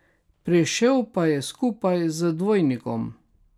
Prišel pa je skupaj z dvojnikom.